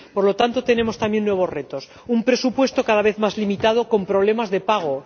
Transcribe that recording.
Por lo tanto, tenemos también nuevos retos Un presupuesto cada vez más limitado, con problemas de pago.